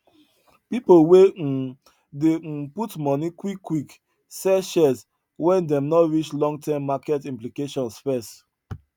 people wey um dey um put money quick quick sell shares when them no reach long term market implications first